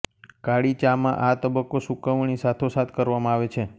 કાળી ચામાં આ તબક્કો સૂકવણી સાથો સાથ કરવામાં આવે છે